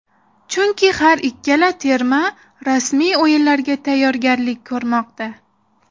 Chunki har ikkala terma rasmiy o‘yinlarga tayyorgarlik ko‘rmoqda.